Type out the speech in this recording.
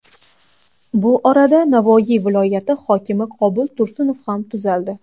Bu orada Navoiy viloyati hokimi Qobul Tursunov ham tuzaldi .